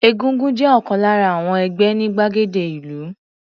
Egúngún jẹ́ ọ̀kan lára àwon ẹgbẹ́ ní gbàgede ìlú.